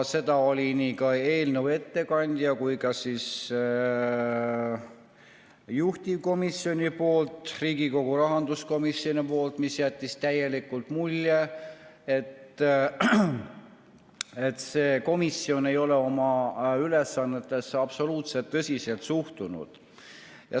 Seda oli nii eelnõu ettekandja kui ka juhtivkomisjoni, Riigikogu rahanduskomisjoni poolt, mis jättis täielikult mulje, et komisjon ei ole oma ülesannetesse absoluutselt tõsiselt suhtunud.